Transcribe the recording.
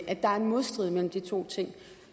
modstrid mellem de to ting